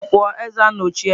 Eze pụọ, eze anochie.